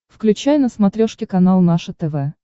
включай на смотрешке канал наше тв